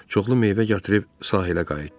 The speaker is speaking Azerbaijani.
Çoxlu meyvə gətirib sahilə qayıtdı.